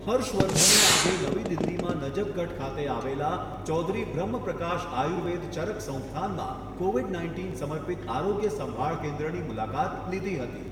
હર્ષવર્ધને આજે નવી દિલ્હીમાં નઝફગઢ ખાતે આવેલા ચૌધરી બ્રહ્મપ્રકાશ આયુર્વેદ ચરક સંસ્થાનમાં કોવિડ નાઇન્ટીન સમર્પિત આરોગ્ય સંભાળ કેન્દ્રની મુલાકાત લીધી હતી.